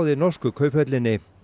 í norsku Kauphöllinni